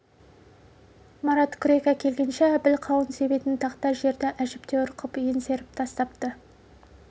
марат күрек әкелгенше әбіл қауын себетін тақта жерді әжептәуір қып еңсеріп тастапты